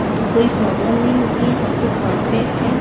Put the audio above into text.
कोई प्रॉब्लम नहीं होती है सब कुछ परफेक्ट है।